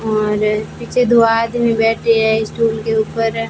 और पीछे दो आदमी बैठे हैं स्टूल के ऊपर।